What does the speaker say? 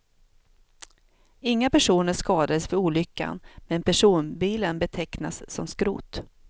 Inga personer skadades vid olyckan men personbilen betecknas som skrot.